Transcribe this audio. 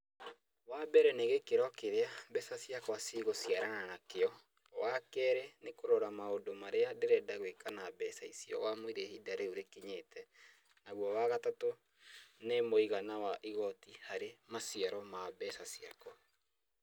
Wambere nĩ gĩkĩro kĩrĩa mbeca ciakwa cigũciarana nakĩo. Wakeerĩ nĩ kũrora maũndũ marĩa ndĩrenda gwĩka na mbeca icio wamũira ihinda rĩu rĩkinyĩte. Naguo wa gatatũ nĩ mũigana wa igoti harĩ maciaro ma mbeca ciakwa.